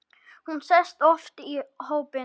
Hún sést oft í hópum.